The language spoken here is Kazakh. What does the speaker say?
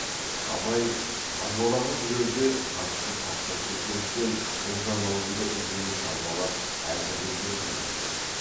абай қазбалаға жүрерде қатты тапсырып кеткендіктен ұлжан аулында үлкен қарбалас әзірлік жүріп жатыр екен